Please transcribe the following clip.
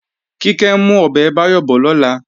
Kíkẹ́ ń mú ọbẹ̀ Báyọ̀ bọ̀ lọ́la